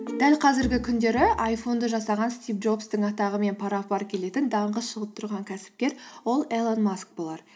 дәл қазіргі күндері айфонды жасаған стив джобстың атағымен пара пар келетін даңқы шығып тұрған кәсіпкер ол илон маск болар